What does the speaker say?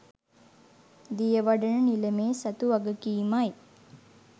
දියවඩන නිලමේ සතු වගකීමයි.